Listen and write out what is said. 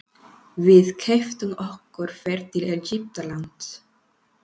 Við keyptum okkur ferð til Egyptalands.